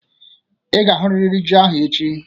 Ị ga-ahụrịrị ji ahụ echi!